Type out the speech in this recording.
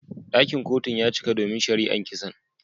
Dakin Kotun ya cika domin shari'an kisan.